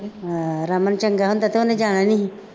ਅਹ ਰਮਨ ਚੰਗਾ ਹੁੰਦਾ ਤਾਂ ਉਹਨੇ ਜਾਣਾ ਨਹੀਂ ਸੀ